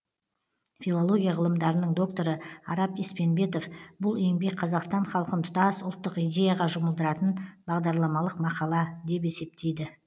филология ғылымдарының докторы арап еспенбетов бұл еңбек қазақстан халқын тұтас ұлттық идеяға жұмылдыратын бағдарламалық мақала деп есептейді